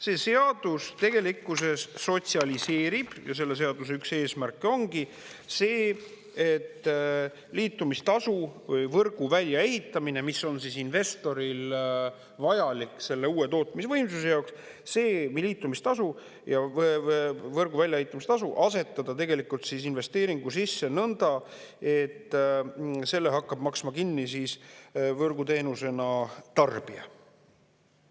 See seadus tegelikkuses sotsialiseerib ja selle seaduse üks eesmärke ongi see, et liitumistasu, võrgu väljaehitamine, mis on investoril vajalik selle uue tootmisvõimsuse jaoks, see liitumistasu ja võrgu väljaehitamise tasu asetada tegelikult investeeringu sisse nõnda, et selle hakkab maksma kinni siis võrguteenusena tarbija.